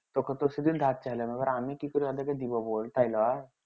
ধার চাইলাম এইবার আমি কি করে ওদেরকে দিবো বল তাই লই